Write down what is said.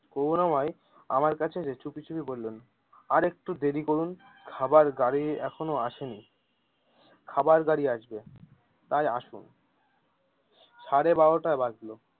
করুনাময় আমার কাছে গিয়ে চুপি চুপি বললেন আর একটু দেরি করুন খাবার গাড়ি এখনো আসেনি, খাবার গাড়ি আসবে তাই আসুন সাড়ে বারোটা বাজলো।